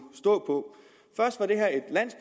stå